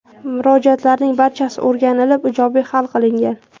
Murojaatlarning barchasi o‘rganlib ijobiy hal qilingan.